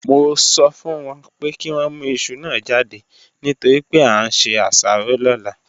Mo sọ fún wọn pé kí wọ́n mú iṣu náà jáde nítorí pé a ń se asaro lọ́la